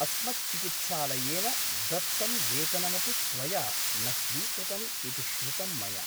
अस्मच्चिकित्सालयेन दत्तं वेतनमपि त्वया न स्वीकृतम् इति श्रुतं मया ।